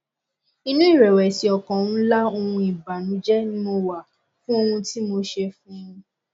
inú ìrẹwẹsì ọkàn ńlá òhun ìbànújẹ ni mo wà fún ohun tí mo ṣe fún un